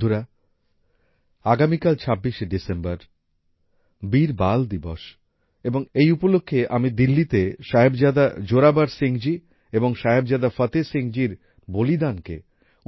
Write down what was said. বন্ধুরা আগামীকাল ২৬এ ডিসেম্বর বীর বাল দিবস এবং এই উপলক্ষে আমি দিল্লিতে সাহেবজাদা জোরাবার সিং জি এবং সাহেবজাদা ফতেহ সিং জিএর বলিদানকে